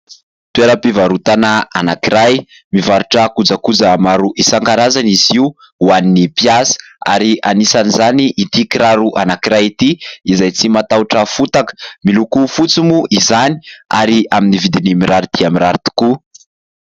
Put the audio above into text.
Toeram-pivarotana anankiray. Mivarotra kojakoja maro isan-karazany izy io ho an'ny mpiasa ary anisan' izany ity kiraro anankiray ity izay tsy matahotra fotaka. Miloko fotsy moa izany ary amin'ny vidiny mirary dia mirary tokoa.